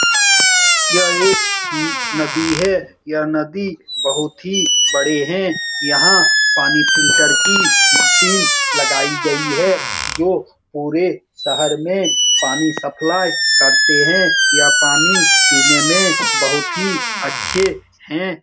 यह एक नदी है यह नदी बहुत ही बड़ी है यहाँ पानी फ़िल्टर की मशीन लगाई गयी है जो पूरे शहर में पानी सप्लाई करते हैं यह पानी पीने में बहुत ही अच्छे हैं।